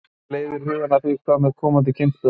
Sem leiðir hugann að því: Hvað með komandi kynslóðir?